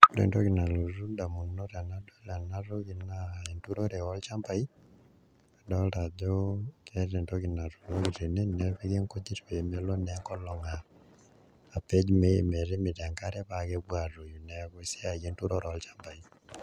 Ore entoki nalotu indamunot tenadol ena toki naa enturore olchambai adolta ajo keeta entoki natuunoki tene nepiki naa nkujit pee melo enkolong' apej metimita enkare paa kepuo aatoyu neeku enturore olchambai.